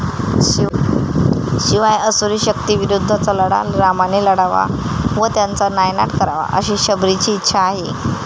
शिवाय असुरी शक्तींविरुद्धचा लढा रामाने लढावा व त्याचा नायनाट करावा अशी शबरीची इच्छा आहे.